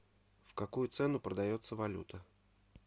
в какую цену продается валюта